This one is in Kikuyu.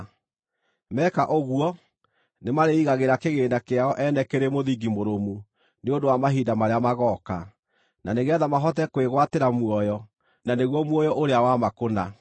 Meka ũguo nĩmarĩĩigagĩra kĩgĩĩna kĩao ene kĩrĩ mũthingi mũrũmu nĩ ũndũ wa mahinda marĩa magooka, na nĩgeetha mahote kwĩgwatĩra muoyo, na nĩguo muoyo ũrĩa wa ma kũna.